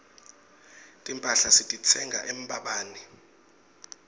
timphahla sititsenga embabane